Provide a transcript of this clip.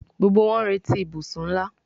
Gbógbó wón n'reti ibusùn nlá